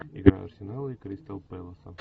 игра арсенала и кристал пэласа